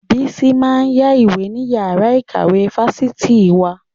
Bísí máa ń yá ìwé ní yàrá ìkàwé fáṣitì wa